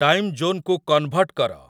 time ଜୋନ୍‌କୁ convert କର